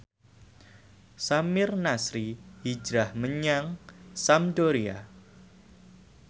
Samir Nasri hijrah menyang Sampdoria